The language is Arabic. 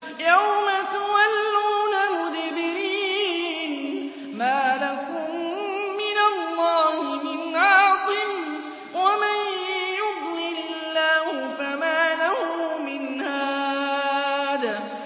يَوْمَ تُوَلُّونَ مُدْبِرِينَ مَا لَكُم مِّنَ اللَّهِ مِنْ عَاصِمٍ ۗ وَمَن يُضْلِلِ اللَّهُ فَمَا لَهُ مِنْ هَادٍ